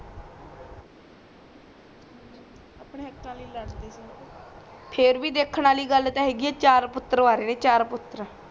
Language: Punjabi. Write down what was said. ਅਪਣੇ ਹਕਾ ਲੀਏ ਲੜਦੇ ਸੀ ਫੇਰ ਬੀ ਦੇਖਣ ਆਲੀ ਗੱਲ ਤਾ ਹੇਗੀ ਆ ਚਾਰ ਪੁਤਰ ਵਾਰੇ ਤੇ ਚਾਰ ਪੁਤਰ